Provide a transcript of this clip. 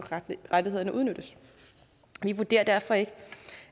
rettighederne udnyttes vi vurderer derfor ikke